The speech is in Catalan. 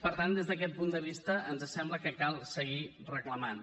per tant des d’aquest punt de vista ens sembla que cal seguir reclamant